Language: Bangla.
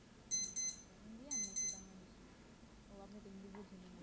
ও আপনি তো হিন্দী বুঝেনি না